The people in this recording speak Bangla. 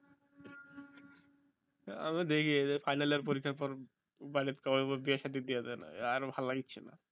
আমি দেখি final year পরীক্ষার পর বাড়িতে সবাই কে বলব বিয়ে সাধি দিয়ে দেন আর ভাল লাগছে না